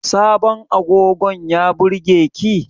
Sabon agogon ya burge ki?